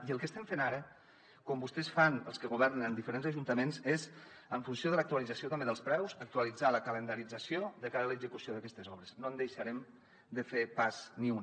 i el que estem fent ara com vostès fan els que governen en diferents ajuntaments és en funció de l’actualització també dels preus actualitzar la calendarització de cara a l’execució d’aquestes obres no en deixarem de fer pas ni una